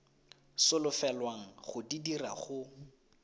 solofelwang go di dira go